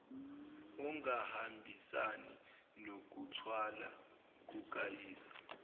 ongahambisani nokuthwala kukayise